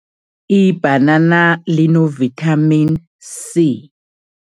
Ibhanana lino-Vitamin C.